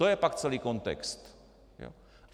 To je pak celý kontext.